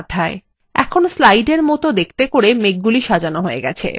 এখন slide এর মতন দেখাতে করে মেঘগুলি সাজানো সহজ হয়ে গেছে